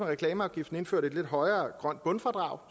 reklameafgiften indført et lidt højere grønt bundfradrag